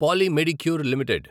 poly Medicure limited